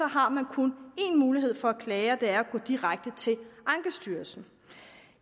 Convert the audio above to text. har man kun én mulighed for at klage og det er at gå direkte til ankestyrelsen